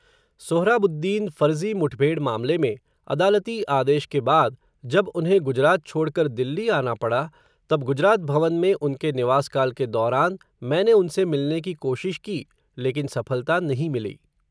सोहराबुद्दीन फ़र्ज़ी मुठभेड़ मामले में, अदालती आदेश के बाद, जब उन्हें गुजरात छोड़कर दिल्ली आना पड़ा, तब गुजरात भवन में उनके निवास काल के दौरान, मैंने उनसे मिलने की कोशिश की, लेकिन सफलता नहीं मिली.